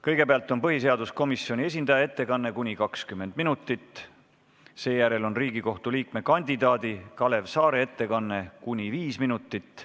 Kõigepealt on põhiseaduskomisjoni esindaja ettekanne kuni 20 minutit, seejärel on Riigikohtu liikme kandidaadi Kalev Saare ettekanne kuni 5 minutit.